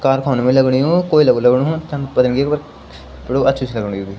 कारखानु भी लगनु यु कोयला भी लगनु जन पतनी बल त अछू सी लगनु यी ।